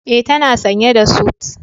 E, tana sanye da sut.